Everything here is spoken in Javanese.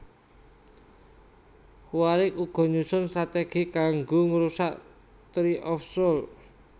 Quaricth uga nyusun stratégi kanggo ngrusak Tree of Souls